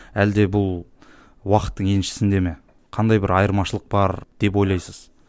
әлде бұл уақыттың еншісінде ме қандай бір айырмашылық бар деп ойлайсыз